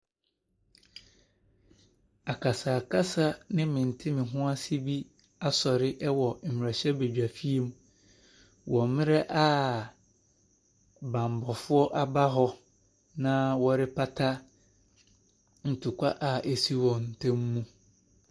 Akasakasa ne mentemehoase bi asɔre wɔ mmarahyɛbadwafie mu wɔ mmerɛ a bammɔfoɔ aba hɔ na wɔrepata ntɔkwa a asi wɔn ntam no.